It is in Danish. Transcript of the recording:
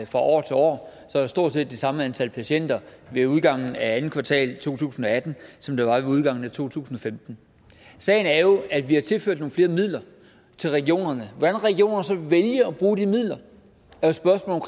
fra år til år er der stort set det samme antal patienter ved udgangen af andet kvartal to tusind og atten som der var ved udgangen af to tusind og femten sagen er jo at vi har tilført nogle flere midler til regionerne hvordan regionerne så vælger at bruge de midler